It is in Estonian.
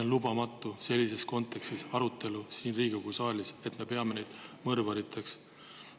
On lubamatu pidada siin Riigikogu saalis arutelu sellises kontekstis, et me peame neid mõrvariteks.